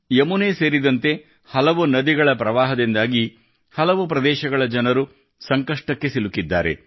ಯಮುನೆ ಸೇರಿದಂತೆ ಹಲವು ನದಿಗಳ ಪ್ರವಾಹದಿಂದಾಗಿ ಹಲವು ಪ್ರದೇಶಗಳ ಜನರು ಸಂಕಷ್ಟಕ್ಕೆ ಸಿಲುಕಿದ್ದಾರೆ